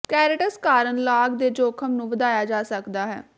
ਸਕੈਰੇਟਸ ਕਾਰਨ ਲਾਗ ਦੇ ਜੋਖਮ ਨੂੰ ਵਧਾਇਆ ਜਾ ਸਕਦਾ ਹੈ